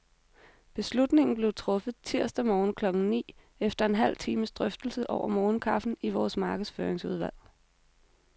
Beslutningen blev truffet tirsdag morgen klokken ni, efter en halv times drøftelse over morgenkaffen i vores markedsføringsudvalg.